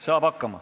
Saab hakkama.